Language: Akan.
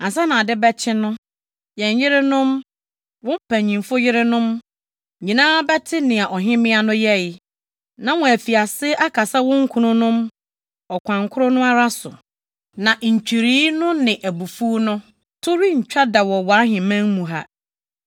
Ansa na ade bɛkyɛ no, yɛn yerenom, wo mpanyimfo yerenom nyinaa bɛte nea ɔhemmea no yɛe, na wɔafi ase akasa wɔn kununom ɔkwan koro no ara so. Na ntwirii no ne abufuw no to rentwa da wɔ wʼaheman mu ha.